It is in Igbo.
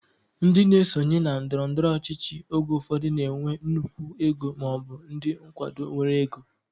Ndị na-esonye na ndọrọndọrọ ọchịchị oge ụfọdụ na-enwe nnukwu ego maọbụ ndị nkwado nwere ego